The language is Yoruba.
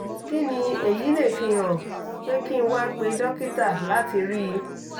kí ni èyí lè fi hàn pé kí n wá pè dókítà láti rí i?